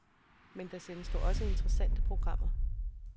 Men der sendes dog også interessante programmer.